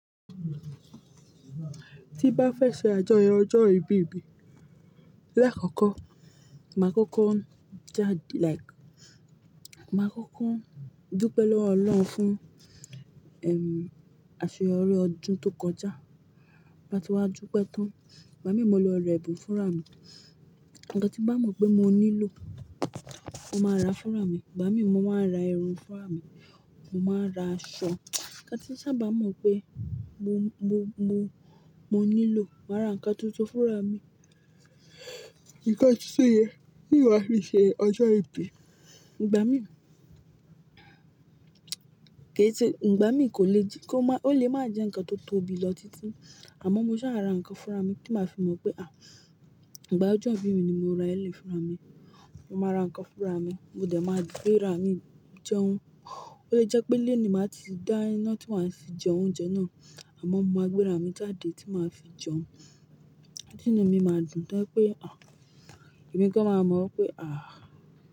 Tí bá fẹ́ ṣe àjọyọ̀ ọjọ́ ìbí, lákókò màá kọ́kọ́ jáde, màá kọ́kọ́ dúpẹ́ lọ́wọ́ Ọlọ́run fún àṣeyọrí ọdún tó kọjá. Tí bá ti wá dúpẹ́ tán. Ìgbà mí mo lè rẹ́bù fún ra mi. Ǹkan tí bá mọ̀ pé mo nílò, mo máa ra fún ra mi. Ìgbà mí mo máa ra erùn fún ra mi, mo máa ra aṣọ. Ǹkan tí sáábà mọ̀ pé mo nílò, màá ra nǹkan tuntun fún ra mi. Ǹkan tuntun yẹn, ni wà fi ṣe ọjọ́ ìbí. Ìgbà mí, ò lè máa jẹ́ ǹkan tó tóbi lọ títí, àmọ́ mo sá à ra nǹkan fún ra mi, tí màá fi mọ̀ pé ìgbà ọjọ́ ìbí mi ni mo ra eléyìí fún ra mi. Mo máa ra nǹkan fún ra mi, mo dẹ̀ máa gbé ra mi jẹun. Ó lè kí jẹ́ pé ilé ni màá ti dá iná tí màá fi jẹ oúnjẹ náà, àmọ́ mo máa gbé ra mi jáde tí màá fi jẹun. Tí nú mi máa dùn, tó jẹ́ wípé èmí gan máa mọ̀ pé.